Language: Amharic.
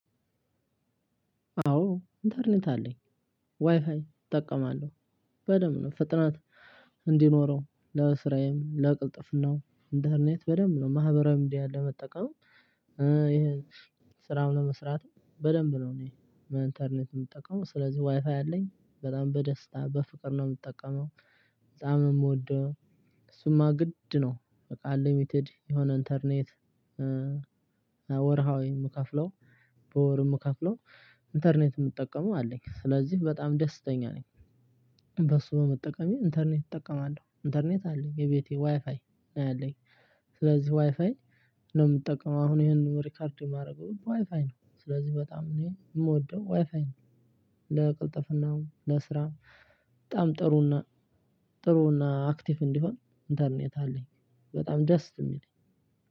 አዎ ኢንተርኔት አለኝ ዋይፋይ እጠቀማለሁ በደንብ ነው ፍጥነት እንዲኖረው ለስራኤል ለቅልጥፍናው ኢንተርኔት በደንብ ነው ማህበራዊ ሚዲያን ለመጠቀም። ስራም ለመስራት በደንብ ነው። እኔ እንተርኔት ምጠቀመው ስለዚህ ዋይፋይ አለኝ በጣም በደስታ በፍቅር ነው ምጠቀመው። በጣም ነው ምወደው። እሱማ ግድ ነው። አንልሚትድ የሆነ እንተርኔት። ወርሃዊ ምከፍለው በወር ምከፍለው ኢንተርኔት ምጠቀመው አለኝ ስለዚህ በጣም ደስተኛ ነኝ። በሱ በመጠቀም ኢንተርኔት እጠቀማለሁ እንተርኔት አለኝ የቤቴ ዋይፋይ አለኝ። ስለዚህ ዋይፋይ ነው ምጠቀመው አሁን ይሄንን ሪከርድ ማረገውም ዋይፋይ ነው ስለዚህ በጣም እኔ ምወደው ዋይፋይ ነው። ለቅልጥፍናውም ለስራ በጣም ጥሩና ጥሩና አክቲቭ እንዲሆን ኢንተርኔት አለኝ። በጣም ደስ ሚል